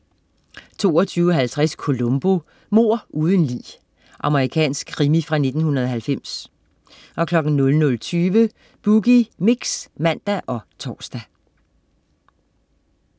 22.50 Columbo: Mord uden lig. Amerikansk krimi fra 1990 00.20 Boogie Mix (man og tors)